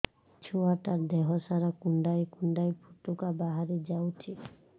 ଛୁଆ ଟା ଦେହ ସାରା କୁଣ୍ଡାଇ କୁଣ୍ଡାଇ ପୁଟୁକା ବାହାରି ଯାଉଛି